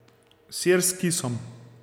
Sir s kisom.